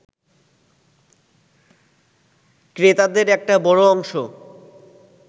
ক্রেতাদের একটা বড় অংশ